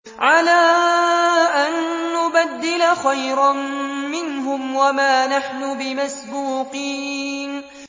عَلَىٰ أَن نُّبَدِّلَ خَيْرًا مِّنْهُمْ وَمَا نَحْنُ بِمَسْبُوقِينَ